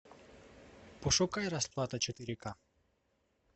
пошукай расплата четыре к